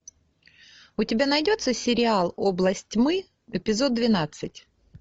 у тебя найдется сериал область тьмы эпизод двенадцать